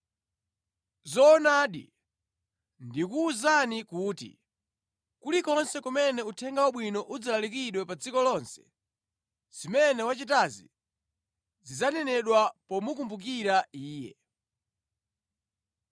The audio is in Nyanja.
Zoonadi, ndikuwuzani kuti kulikonse kumene Uthenga Wabwino udzalalikidwa pa dziko lonse, zimene wachitazi zidzanenedwa pomukumbukira iye.”